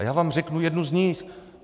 A já vám řeknu jednu z nich.